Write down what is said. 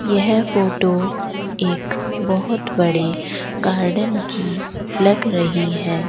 यह फोटो एक बहोत बड़े गार्डन की लग रही है।